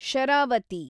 Sharavati